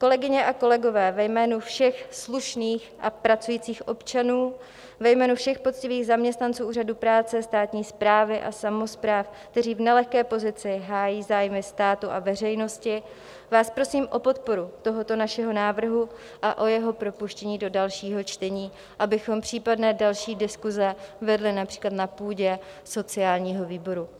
Kolegyně a kolegové, ve jménu všech slušných a pracujících občanů, ve jménu všech poctivých zaměstnanců úřadu práce, státní správy a samospráv, kteří v nelehké pozici hájí zájmy státu a veřejnosti, vás prosím o podporu tohoto našeho návrhu a o jeho propuštění do dalšího čtení, abychom případné další diskuse vedli například na půdě sociálního výboru.